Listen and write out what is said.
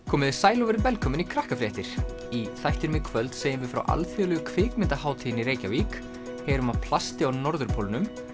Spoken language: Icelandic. komiði sæl og verið velkomin í í þættinum í kvöld segjum við frá Alþjóðlegu kvikmyndahátíðinni í Reykjavík heyrum af plasti á norðurpólnum